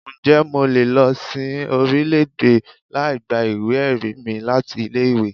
Ǹjẹ́ mo lè lọ sin orílẹ̀-èdè láì gba ìwé-ẹ̀rí mi láti ilé-ìwé?